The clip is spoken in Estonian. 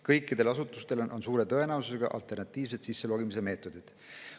Kõikidel asutustel on suure tõenäosusega alternatiivsed sisselogimise meetodid.